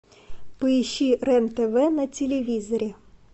поищи рен тв на телевизоре